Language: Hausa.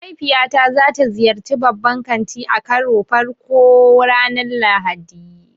Mahaifiyata za ta ziyarci babban kanti a karon farko ranar Lahadi.